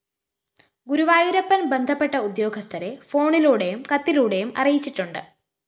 ഗുരുവായൂരപ്പന്‍ ബന്ധപ്പെട്ട ഉദ്യോഗസ്ഥരെ ഫോണിലൂടെയും കത്തിലൂടെയും അറിയിച്ചിട്ടുണ്ട്